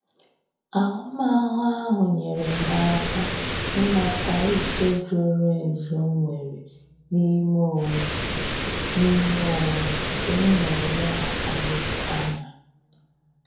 Ahụmahụ ahụ nyere m aka ịmata ike zoro ezu m nwere n'ime onwe m n'ime onwe m nke m na eleghakari anya